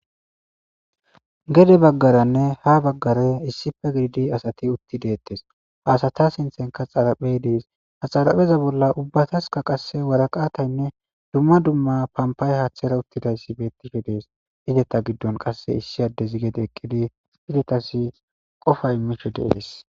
gede baggaranne ha baggare issife gididi asati utti deettes haasata sinthenka xaraphey dees haxarapheza bolla ubbataska qasse waraqataynne dumma dumma pampay haaththera uttidayssi beettifhe dees ideta giddon qasse issi addezi gede eqqidi fidetasi qofa misho deees